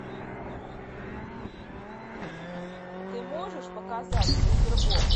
ты можешь показать супер боб